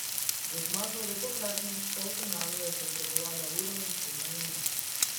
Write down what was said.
Za zmago v tokratnem polfinalu je potrebovala uro in sedem minut.